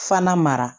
Fana mara